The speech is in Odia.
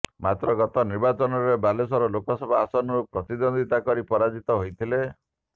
ମାତ୍ର ଗତ ନିର୍ବାଚନରେ ବାଲେଶ୍ୱର ଲୋକସଭା ଆସନରୁ ପ୍ରତିଦ୍ୱନ୍ଦ୍ୱିତା କରି ପରାଜିତ ହୋଇଥିଲେ